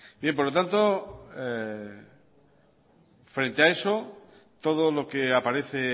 por lo tanto frente a eso todo lo que aparece